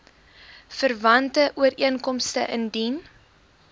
verwante ooreenkomste indien